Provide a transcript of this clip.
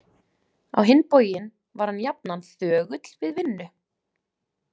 Á hinn bóginn var hann jafnan þögull við vinnu.